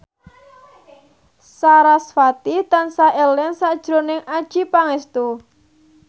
sarasvati tansah eling sakjroning Adjie Pangestu